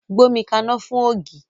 Gbómi kaná fún ògì!